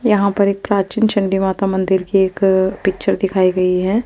यहाँ पर एक प्राचीन चंडी माता मंदिर की एक पिक्चर दिखाई गई है ।